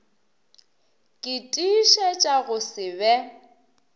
ke tiišetša go se be